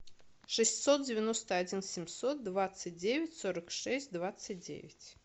шестьсот девяносто один семьсот двадцать девять сорок шесть двадцать девять